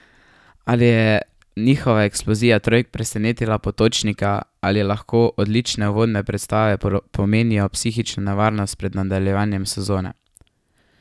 Ali je njihova eksplozija trojk presenetila Potočnika ali lahko odlične uvodne predstave pomenijo psihično nevarnost pred nadaljevanjem sezone?